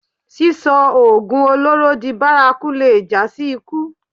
Sísọ oògùn olóró di bárakú lè jásí ikú